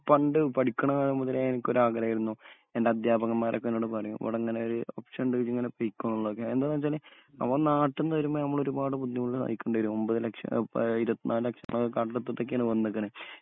പണ്ട് പഠിക്കണ കാലം മുതലേ എനിക്കൊരാഗ്രഹായിരുന്നു. എന്റെ അധ്യാപകന്മാരൊക്കെ എന്നോട് പറയും ഇവടങ്ങനെ ഒരു എന്താന്നു വെച്ചാല് അവൻ നാട്ടിന്നു വരുമ്പോ നമ്മളൊരുപാട് ബുദ്ധിമുട്ട് സഹിക്കേണ്ടിവരും. ഒമ്പത് ലക്ഷം ആഹ് പ ഇരുപത്തി നാല് ലക്ഷം കടെടുത്തിട്ടൊക്കെയാണ് വന്നിക്കണ്.